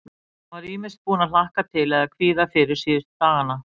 Hann var ýmist búinn að hlakka til eða kvíða fyrir síðustu dagana.